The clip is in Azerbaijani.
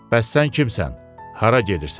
Bəs sən kimsən, hara gedirsən?